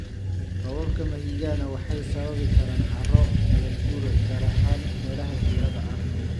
Roobabka mahiigaana waxay sababi karaan carro nabaad guur, gaar ahaan meelaha jiirada ah.